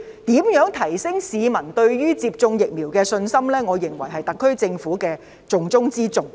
如何提升市民對於接種疫苗的信心，我認為是特區政府的重中之重。